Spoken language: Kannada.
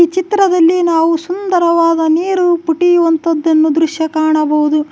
ಚಿತ್ರದಲ್ಲಿ ನಾವು ಸುಂದರವಾದ ನೀರು ಪುಟಿಯುವಂತ್ತದ್ದನ್ನು ದೃಶ್ಯ ಕಾಣಬಹುದು.